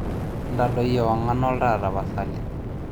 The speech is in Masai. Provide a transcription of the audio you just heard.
intadoi ewang'an oltaa tapasali